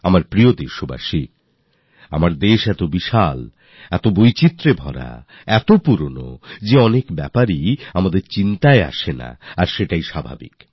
আমার প্রিয় দেশবাসীরা আমাদের দেশ এত বিশাল এত বৈচিত্র্যপূর্ণ এত পুরাতন যে অনেক বিষয় আমাদের মনেই থাকে না আর এটাই স্বাভাবিক